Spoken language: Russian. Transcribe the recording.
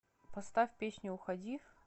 поставь песню уходи